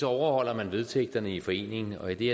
overholder man vedtægterne i foreningen og i det